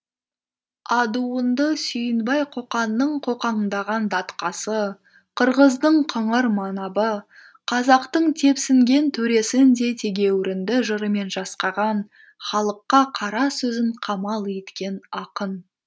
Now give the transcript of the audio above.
адуынды сүйінбай қоқанның қоқаңдаған датқасы қырғыздың қыңыр манабы қазақтың тепсінген төресін де тегеурінді жырымен жасқаған халыққа қара сөзін қамал еткен ақын